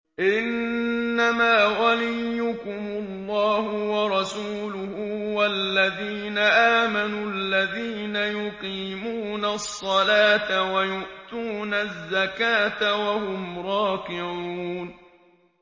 إِنَّمَا وَلِيُّكُمُ اللَّهُ وَرَسُولُهُ وَالَّذِينَ آمَنُوا الَّذِينَ يُقِيمُونَ الصَّلَاةَ وَيُؤْتُونَ الزَّكَاةَ وَهُمْ رَاكِعُونَ